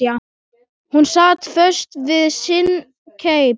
Hún sat föst við sinn keip.